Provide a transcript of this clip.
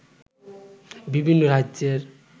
বিভিন্ন রাজ্যের